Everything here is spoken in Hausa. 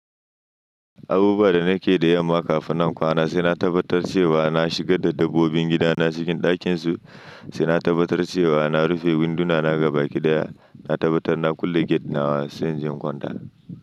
Abubuwa da nake da yamma kafin nan kwana sai na tabbatar cewa na shiga da dabbobin gidana cikin ɗakin su, sai na tabbatar cewa na rufe winduna na gaba kiɗaya, na tabbatar na kulle gate na wa sai in je in kwanta.